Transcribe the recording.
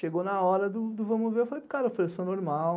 Chegou na hora do vamos ver, eu falei para o cara, eu sou normal.